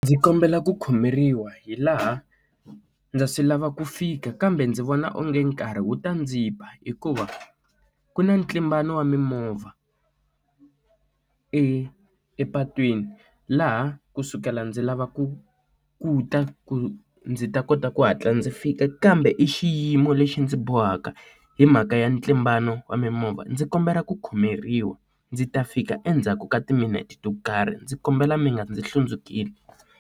Ndzi kombela ku khomeriwa hi laha ndza swi lava ku fika kambe ndzi vona onge nkarhi wu ta ndzi ba hikuva ku na ntlimbano wa mimovha epatwini laha kusukela ndzi lava ku ku ta ku ndzi ta kota ku hatla ndzi fika kambe i xiyimo lexi ndzi bohaka hi mhaka ya ntlimbano wa mimovha. Ndzi kombela ku khomeriwa ndzi ta fika endzhaku ka timinete to karhi. Ndzi kombela mi nga ndzi hlundzukeli.